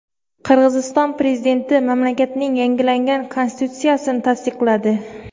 Qirg‘iziston prezidenti mamlakatning yangilangan konstitutsiyasini tasdiqladi.